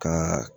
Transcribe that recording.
Kan